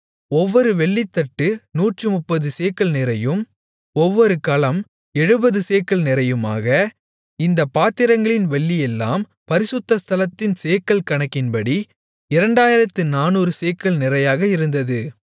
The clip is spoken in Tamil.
ஒவ்வொரு வெள்ளித்தட்டு நூற்று முப்பது சேக்கல் நிறையும் ஒவ்வொரு கலம் எழுபது சேக்கல் நிறையுமாக இந்தப் பாத்திரங்களின் வெள்ளியெல்லாம் பரிசுத்த ஸ்தலத்தின் சேக்கல் கணக்கின்படி இரண்டாயிரத்து நானூறு சேக்கல் நிறையாக இருந்தது